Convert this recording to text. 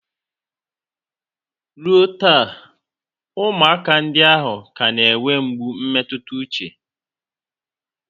Ruo taa, ụmụaka ndị ahụ ka na-enwe mgbu mmetụta uche